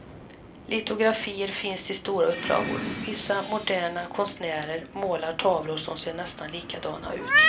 Litografier finns i stora upplagor, vissa moderna konstnärer målar tavlor som ser nästan likadana ut.